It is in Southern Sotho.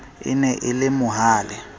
e ne e le mohale